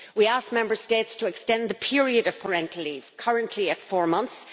We ask Member States to extend the period of parental leave, currently at four months